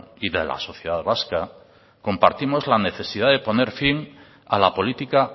y de la sociedad vasca compartimos la necesidad de poner fin a la política